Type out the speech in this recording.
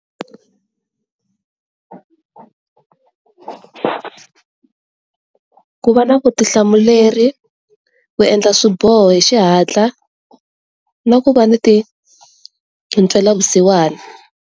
Ku va na vutihlamuleri, ku endla swiboho hi xihatla na ku va ni ntwela vusiwana.